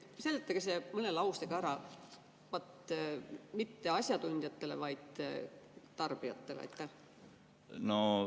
Seletage see mõne lausega ära, aga mitte asjatundjatele, vaid tarbijatele.